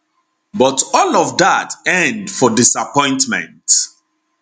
but all of dat end for disappointment